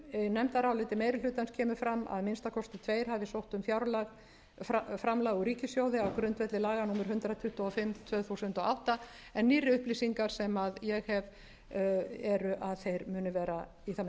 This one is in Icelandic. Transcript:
fram að að minnsta kosti tveir hafi sótt um framlag úr ríkissjóði á grundvelli laga númer hundrað tuttugu og fimm tvö þúsund og átta en nýrri upplýsingar sem ég hef eru að þeir muni vera í